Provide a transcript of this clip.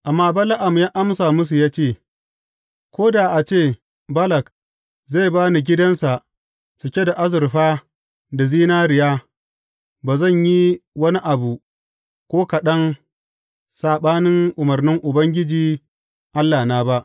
Amma Bala’am ya amsa musu ya ce, Ko da a ce Balak zai ba ni gidansa cike da azurfa da zinariya, ba zan yi wani abu ko kaɗan saɓanin umarnin Ubangiji Allahna ba.